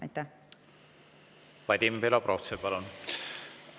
Vadim Belobrovtsev, palun!